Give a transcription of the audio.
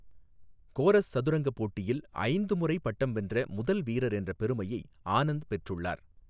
Chorus சதுரங்க போட்டியில் ஐந்து முறை பட்டம் வென்ற முதல் வீரர் என்ற பெருமையை ஆனந்த் பெற்றுள்ளார்.